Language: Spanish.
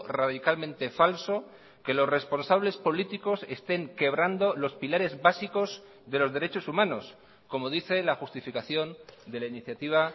radicalmente falso que los responsables políticos estén quebrando los pilares básicos de los derechos humanos como dice la justificación de la iniciativa